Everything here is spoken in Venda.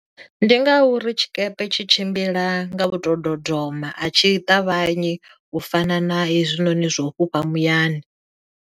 Ndi ngauri tshikepe tshi tshimbila nga u to dodoma a tshi ṱavhanyi u fana na hezwinoni zwa u fhufha muyani.